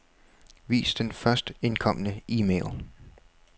Vis den først indkomne e-mail.